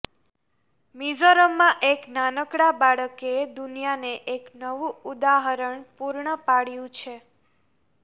મિઝોરમમાં એક નાનકડા બાળકે દુનિયાને એક નવું ઉદાહરણ પૂર્ણ પાડ્યું છે